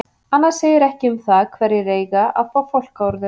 Annað segir ekki um það hverjir eiga að fá fálkaorðu.